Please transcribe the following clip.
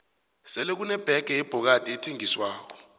sele kune bege yebhokadi ethengiswako